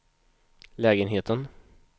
lägenheten